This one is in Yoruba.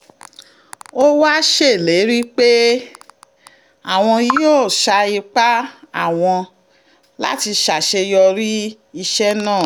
ó wáá ṣèlérí pé àwọn yóò sa ipá àwọn láti ṣàṣeyọrí iṣẹ́ náà